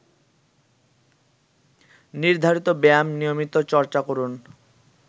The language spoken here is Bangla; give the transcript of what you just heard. নির্ধারিত ব্যায়াম নিয়মিত চর্চা করুন